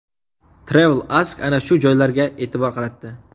TravelAsk ana shu joylarga e’tibor qaratdi .